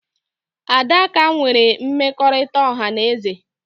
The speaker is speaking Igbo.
Adaka nwere mmekọrịta ọha na eze